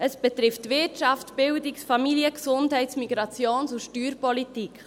Es betrifft Wirtschafts-, Bildungs- Familien-, Gesundheits-, Migrations- und Steuerpolitik.